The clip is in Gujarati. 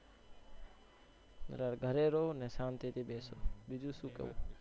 તારે ઘરે રેવુંને શાંતિથી બેસજે બીજું શું કવ?